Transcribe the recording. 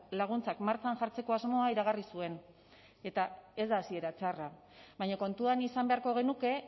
laguntzak martxan jartzeko asmoa iragarri zuen eta ez da hasiera txarra baina kontuan izan beharko genuke